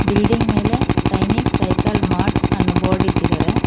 Building ಮೇಲೆ Sainik cycle mart ಅನ್ನೋ board ಇಟ್ಟಿದ್ದಾರೆ.